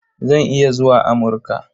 Zan iya zuwa Amurka.